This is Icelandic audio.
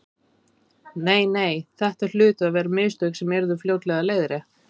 Nei, nei, þetta hlutu að vera mistök sem yrðu fljótlega leiðrétt.